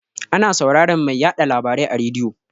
Ana sauraran mai yaɗa labarai a rediyo.